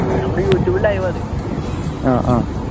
നമ്മുടെ youtube live ആണത്